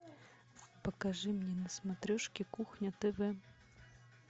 покажи мне на смотрешке кухня тв